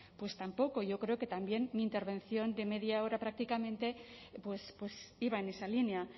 pues tampoco yo creo que también mi intervención de media hora prácticamente iba en esa línea